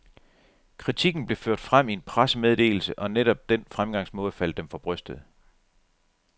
Kritikken blev ført frem i en pressemeddelse, og netop den fremgangsmåde faldt dem for brystet.